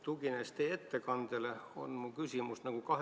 Tuginedes teie ettekandele, on mul kahe poolega küsimus.